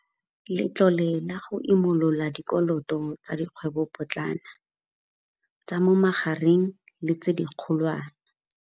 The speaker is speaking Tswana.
Letlole la go Imolola Dikoloto tsa Dikgwebopotlana, tsa mo Magareng le tse Dikgolwane.